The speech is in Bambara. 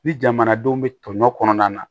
Ni jamanadenw bɛ tɔɲɔ kɔnɔna na